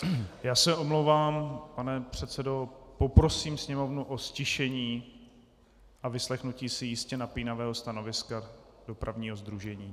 Já se omlouvám, pane předsedo, poprosím Sněmovnu o ztišení a vyslechnutí si jistě napínavého stanoviska dopravního sdružení.